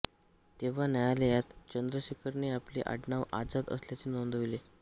तेव्हा न्यायालयात चंद्रशेखरने आपले आडनाव आझाद असल्याचे नोंदवले